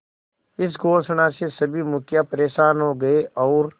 इस घोषणा से सभी मुखिया परेशान हो गए और